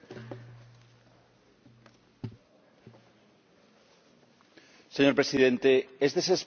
Señor Presidente, es desesperante la lentitud con la que estamos afrontando una crisis en la que están en juego vidas humanas.